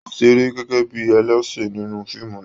O seré gẹgẹ bíi ẹlẹsin nínú fíìmù náà.